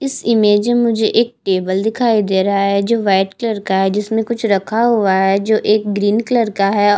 इस इमेज में मुझे एक टेबल दिखाई दे रहा है जो व्हाइट कलर का है जिसमे कुछ रखा हुआ है जो एक ग्रीन कलर का है औ--